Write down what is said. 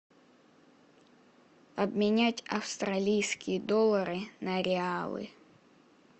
обменять австралийские доллары на реалы